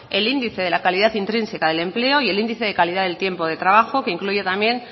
el índice de la calidad intrínseca del empleo y el índice de calidad del tiempo de trabajo que incluye también